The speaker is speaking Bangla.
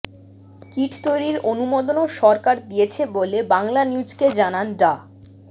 কিট তৈরির অনুমোদনও সরকার দিয়েছে বলে বাংলানিউজকে জানান ডা